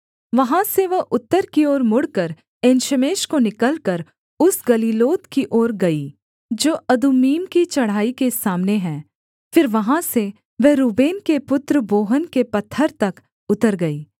वहाँ से वह उत्तर की ओर मुड़कर एनशेमेश को निकलकर उस गलीलोत की ओर गई जो अदुम्मीम की चढ़ाई के सामने है फिर वहाँ से वह रूबेन के पुत्र बोहन के पत्थर तक उतर गई